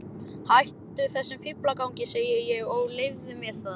Hættu þessum fíflagangi, segi ég, og leyfðu mér að.